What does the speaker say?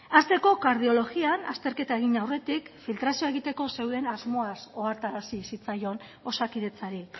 hasteko kardiologian azterketa egin aurretik filtrazioa egiteko zeuden asmoaz ohartarazi zitzaion osakidetzari